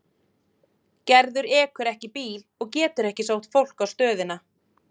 Gerður ekur ekki bíl og getur ekki sótt fólk á stöðina.